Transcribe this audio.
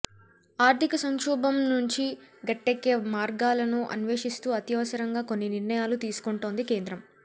ఆర్ధిక సంక్షోభం నుంచి గట్టెక్కే మార్గాలను అన్వేషిస్తూ అత్యవసరంగా కొన్ని నిర్ణయాలు తీసుకుంటోంది కేంద్రం